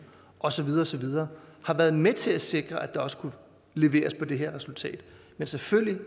og så videre og så videre har været med til at sikre at der også kunne leveres på det her resultat men selvfølgelig